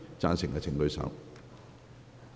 贊成的請舉手。